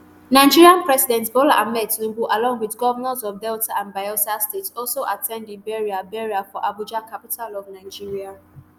nigerian president bola ahmed tinubu along with govnors of delta and bayelsa states also at ten d di burial burial for abuja capital of nigeria